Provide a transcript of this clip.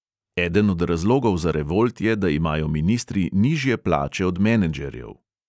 Eden od razlogov za revolt je, da imajo ministri nižje plače od m enedžerjev.